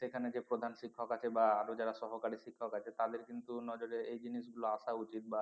সেখানে যে প্রধান শিক্ষক আছে বা আরো যারা সহকারী শিক্ষক আছে তাদের কিন্তু নজরে এই জিনিস গুলো আসা উচিত বা